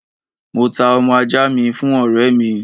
Mo ta ọmọ ajá mi fún òré mi